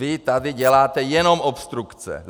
Vy tady děláte jenom obstrukce.